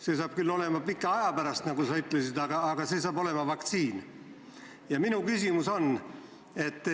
See saab küll olema pika aja pärast, nagu sa ütlesid, aga see saab olema vaktsiini defitsiit.